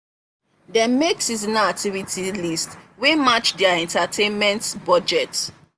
dem make seasonal activity list wey match their entertainment budget.